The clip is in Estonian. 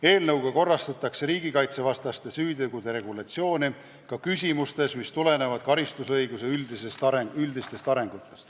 Eelnõuga korrastatakse riigikaitsevastaste süütegude regulatsiooni ka küsimustes, mis tulenevad karistusõiguse üldistest arengusuundadest.